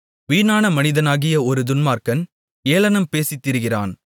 வீணான மனிதனாகிய ஒரு துன்மார்க்கன் ஏளனம் பேசித்திரிகிறான்